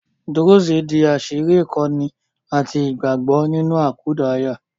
Dúrúsì di àṣírí ìkọ́ni àti ìgbàgbọ́ nínú àkúdàáyá